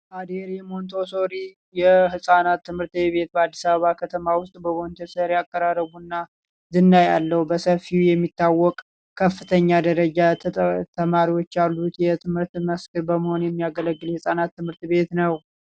አዴሬ ሞንቶ ሶሪ የህጻናት ትምህርት ቤት በአዲስ አበባ ከተማ ውስጥ ያቀራረቡና ዝና ያለው በሰፊው የሚታወቅ ከፍተኛ ደረጃ ተማሪዎች የትምህርት እና በመሆን የሚያገለግል ህጻናት ትምህርት ቤት ነው